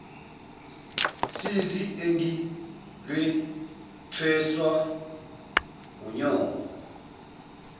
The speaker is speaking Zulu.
sizi engilwethweswa wunyoko